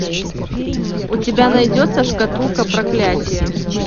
у тебя найдется шкатулка проклятия